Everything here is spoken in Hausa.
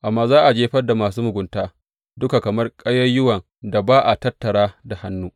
Amma za a jefar da masu mugunta duka kamar ƙayayyuwan da ba a tattara da hannu.